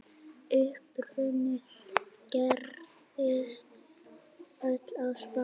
Uppruni gerist öll á Spáni.